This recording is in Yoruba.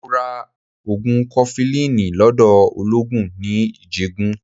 Mo ra ogun kofilini lọ́dọ̀ ologun ní Ijegun.